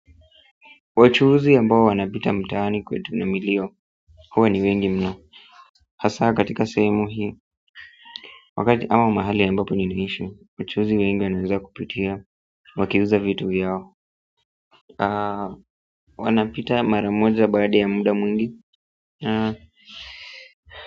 Wachuhuzi ambao wanapita mtaani kwetu na milio huwa ni wengi mno hasa katika sehemu hii wakati ama mahali ambapo niliishi wachuhuzi wengi wanaendelea kupitia wakiuza vitu vyao wanapita mara moja baada ya muda mwingi.